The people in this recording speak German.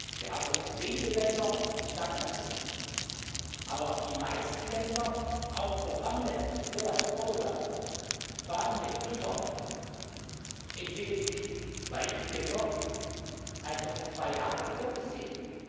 Wir haben noch wenige Länder in Stagnation, aber die meisten Länder, auch Programmländer Irland, Portugal, Spanien, Zypern entwickeln sich weit besser, als noch vor zwei Jahren vorgesehen.